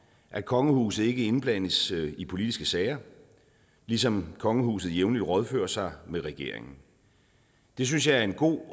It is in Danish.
at kongehuset ikke indblandes i politiske sager ligesom kongehuset jævnligt rådfører sig med regeringen det synes jeg er en god